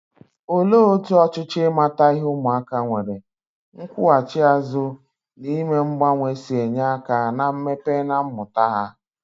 Olee otú ọchịchọ ịmata ihe ụmụaka nwere, nkwụghachi azụ, na ime mgbanwe si enye aka na mmepe na mmụta ha?